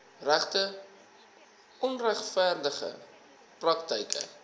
regte onregverdige praktyke